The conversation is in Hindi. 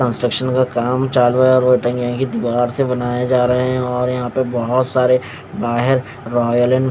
कॉन्सट्रक्षण का काम चालू है और यही दीवार से बनाया जा रहे है और यहा बहोत सारे ब्याहे रॉयल एण्ड --